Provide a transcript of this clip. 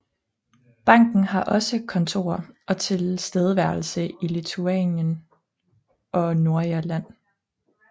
Banken har også kontorer og tilstedeværelse i Litauen og Nordirland